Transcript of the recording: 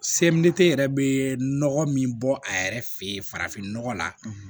Semɛni tɛ yɛrɛ bɛ nɔgɔ min bɔ a yɛrɛ fɛ yen farafinnɔgɔ la